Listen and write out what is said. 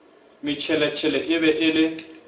motšheletšhele e be e le